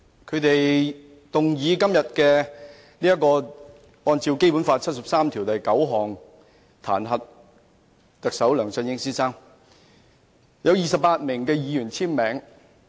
他們動議根據《基本法》第七十三條第九項彈劾特首梁振英先生，有28名議員簽署。